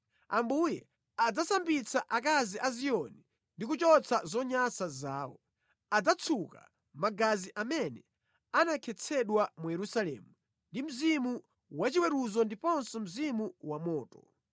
Ambuye adzasambitsa akazi a Ziyoni ndi kuchotsa zonyansa zawo. Adzatsuka magazi amene anakhetsedwa mu Yerusalemu ndi mzimu wachiweruzo ndiponso mzimu wamoto.